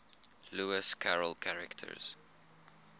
lewis carroll characters